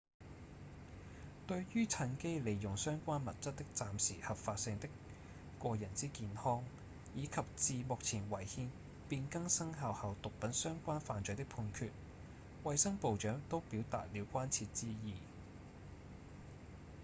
對於趁機利用相關物質的暫時合法性的個人之健康以及自目前違憲變更生效後毒品相關犯罪的判決衛生部長都表達了關切之意